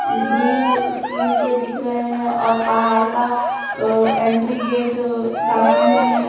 Grill steel के दिख रहे हैं और पहाड़ का एंट्री गेट सामने में है।